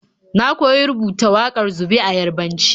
Na koyi rubutar wakar zube a Yarabanci.